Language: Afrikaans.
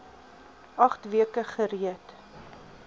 agt weke gereed